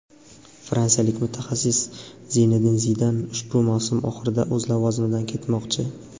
fransiyalik mutaxassis Zinedin Zidan ushbu mavsum oxirida o‘z lavozimidan ketmoqchi.